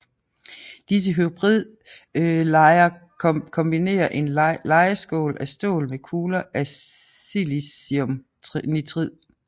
Disse hybridlejer kombinerer en lejeskål af stål med kugler af silicium nitrid